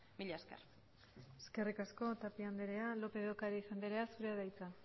mila esker eskerrik asko tapia andrea lópez de ocariz andrea zurea da hitza